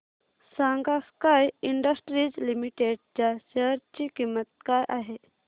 सांगा Sky Industries Limited च्या share ची किंमत काय आहे